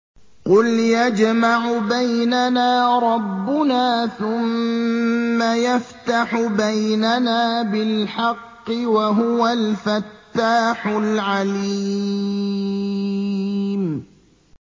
قُلْ يَجْمَعُ بَيْنَنَا رَبُّنَا ثُمَّ يَفْتَحُ بَيْنَنَا بِالْحَقِّ وَهُوَ الْفَتَّاحُ الْعَلِيمُ